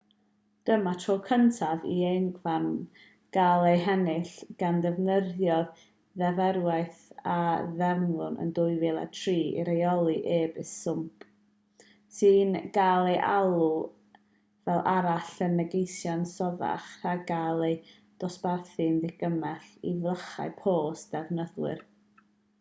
dyma'r tro cyntaf i euogfarn gael ei hennill gan ddefnyddio'r ddeddfwriaeth a ddeddfwyd yn 2003 i reoli e-byst swmp sy'n cael ei alw fel arall yn negeseuon sothach rhag cael ei ddosbarthu'n ddigymell i flychau post defnyddwyr